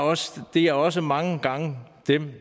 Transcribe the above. det er også mange gange dem